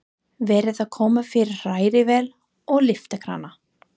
Verið að koma fyrir hrærivél og lyftikrana.